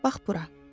Bax bura.